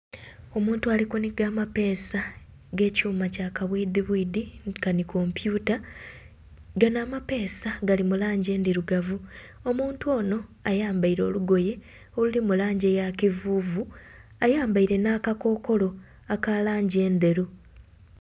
Omuntu ali kunhiga amapeesa g'ekyuma kya kabwidhibwidhi nkanhi kompyuta. Gano amapeesa gali mu langi endhirugavu. Omuntu ono ayambaile olugoye oluli mu langi eya kivuuvu. Ayambaile nh'akakokolo aka langi endheru.